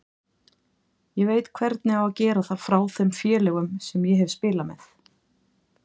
Ég veit hvernig á að gera það frá þeim félögum sem ég hef spilað með.